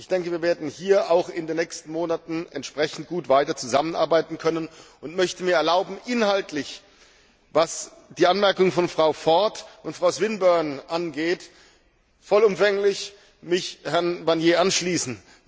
Ich denke, wir werden hier auch in den nächsten Monaten entsprechend gut weiter zusammenarbeiten können, und möchte mir erlauben, mich inhaltlich, was die Anmerkung von Frau Ford und Frau Swinburne angeht, voll umfänglich Herrn Barnier anzuschließen.